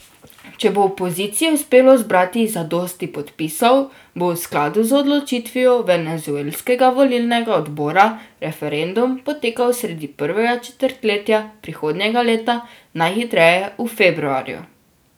Če bo opoziciji uspelo zbrati zadosti podpisov, bo v skladu z odločitvijo venezuelskega volilnega odbora referendum potekal sredi prvega četrtletja prihodnjega leta, najhitreje v februarju.